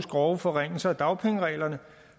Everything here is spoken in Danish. grove forringelser af dagpengereglerne